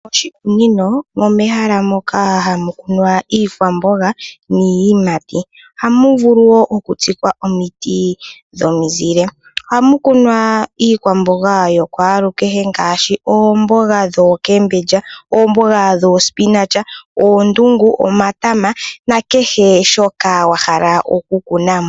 Moshikunino omo mehala moka hamu kunwa iikwamboga niiyimati ohamu vulu wo okutsikwa omiti dhomizile ohamu kunwa iikwamboga yo kwaalukehe ngaashi oomboga dhookeembendja ,oomboga dhoospinach ,oondunga ,omatama nakehe shoka wa hala okukuna mo.